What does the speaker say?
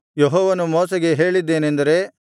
ಯೆಹೋವನು ಮೋಶೆಗೆ ಹೇಳಿದ್ದೇನೆಂದರೆ